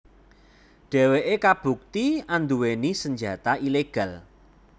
Dheweké kabukti anduwèni senjata ilegal